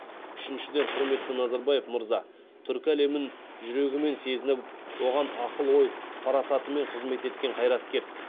үшіншіден құрметті назарбаев мырза түркі әлемін жүрегімен сезініп оған ақыл ой парасатымен қызмет еткен қайраткер